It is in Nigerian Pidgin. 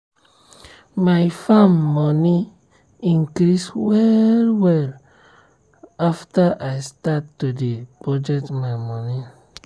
my farm money increase well well o after i start to dey budget my moni um serious.